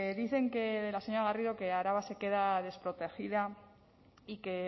dice la señora garrido que araba se queda desprotegida y que